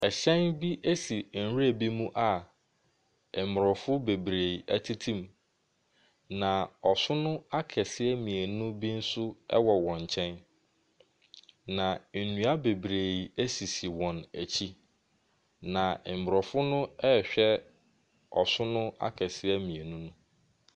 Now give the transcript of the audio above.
Ɛhyɛn bi si nwura bi mu a Aborɔfo bebree tete mu, na asono akɛses mmienu bi nso wɔ wɔn nkyɛn, na nnua bebree sisi wɔn akyi, na Aborɔfo no rehwɛ Asono akɛseɛ mmienu no.